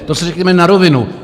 To si řekněme na rovinu.